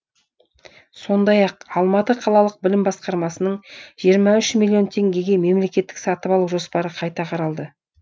сондай ақ алматы қалалық білім басқармасының жиырма үш миллион теңгеге мемлекеттік сатып алу жоспары қайта қаралды